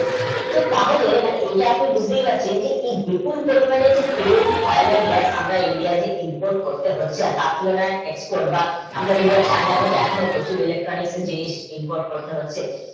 তো তাহলে এটা আপনি বুজিতে পারছেন যে ফুল পরিমানে যে তেল oil and gass আমরা india তে input করতে হচ্ছে তাঁর তুলনাই export বা আমরা india China থেকে আমরা এখনো প্রচুর Electronic জিনিষ input করতে হচ্ছে